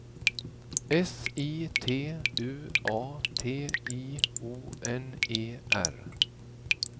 S I T U A T I O N E R